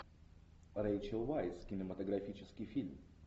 рэйчел вайс кинематографический фильм